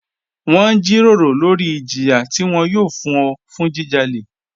Wọn n jírọ̀rọ̀ lórí ìjìyà tí wọn yòò fún ọ̀ fún jíjálẹ̀.